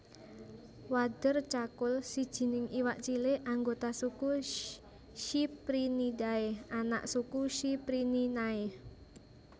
Wader cakul sijining iwak cilik anggota suku Cyprinidae anak suku Cyprininae